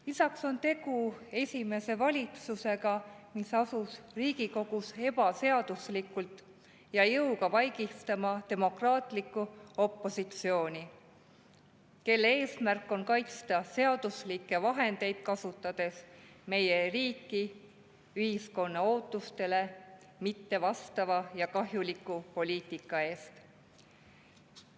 Lisaks on tegu esimese valitsusega, mis asus Riigikogus ebaseaduslikult ja jõuga vaigistama demokraatlikku opositsiooni, kelle eesmärk on kaitsta seaduslikke vahendeid kasutades meie riiki ühiskonna ootustele mitte vastava ja kahjuliku poliitika eest.